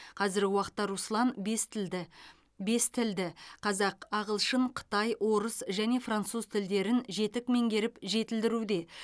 қазіргі уақытта руслан бес тілді бес тілді қазақ ағылшын қытай орыс және француз тілдерін жетік меңгеріп жетілдіруде